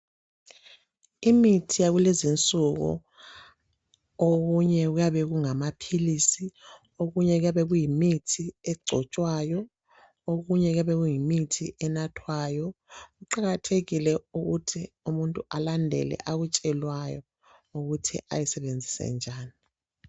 Imithi yakulezi nsuku okunye kuyabe kungamaphilisi okunye kuyabe kuyimithi egcotshwayo okunye kuyabe kuyimithi enathwayo kuqakathekile ukuthi umuntu alandele akutshelwayo ukuthi ayisebenzise njani.